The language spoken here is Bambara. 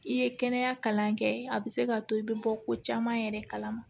I ye kɛnɛya kalan kɛ a bɛ se ka to i bɛ bɔ ko caman yɛrɛ kalama